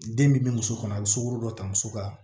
Den min bɛ muso kɔnɔ a bɛ sukoro dɔ ta muso ka